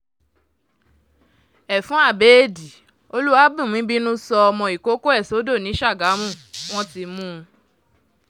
ẹfun abẹ́ẹ̀dì olúwàbùnmí bínú sọ ọmọ ìkọ̀kọ̀ ẹ̀ sódò ni sàgámù wọn ti mú un